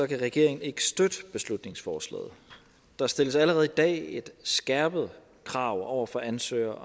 kan regeringen ikke støtte beslutningsforslaget der stilles allerede i dag et skærpet krav over for ansøgere